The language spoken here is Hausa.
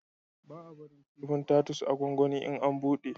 Ba a barin kifin tatus a gwanwani in an buɗe